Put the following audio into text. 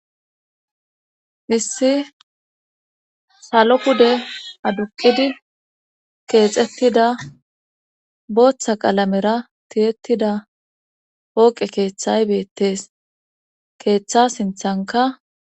issi salo pude aduqidi keexettida booththa qalamera tiyettida pooqe keeththay beettes keeththa sinthanka